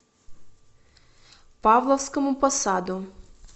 павловскому посаду